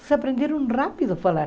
Eles aprenderam rápido a falar.